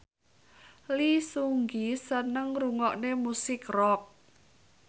Lee Seung Gi seneng ngrungokne musik rock